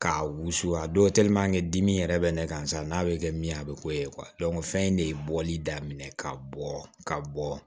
K'a wusu a don dimi yɛrɛ bɛ ne kan sa n'a be kɛ min ye a be k'o ye fɛn in de ye bɔli daminɛ ka bɔ ka bɔ